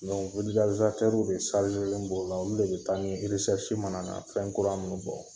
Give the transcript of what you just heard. Don de don o la , olu de bɛ taa ni mana na fɛn kura minnu bɔ.